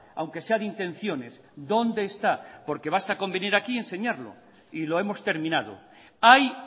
aunque sea de intenciones dónde está porque basta con venir aquí y enseñarlo y lo hemos terminado hay